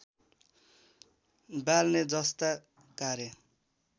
बाल्ने जस्ता कार्य